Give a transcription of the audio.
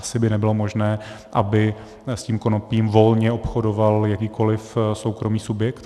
Asi by nebylo možné, aby s tím konopím volně obchodoval jakýkoliv soukromý subjekt.